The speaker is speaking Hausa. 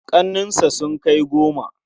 Ƙannensa sun kai goma.